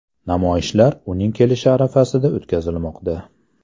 Namoyishlar uning kelishi arafasida o‘tkazilmoqda.